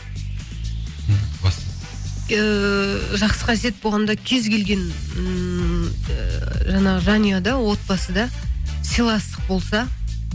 баста ыыы жақсы қасиет болғанда кез келген ммм жаңағы жанұяда отбасыда сыйластық болса